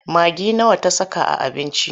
Magi nawa ta saka a abincin?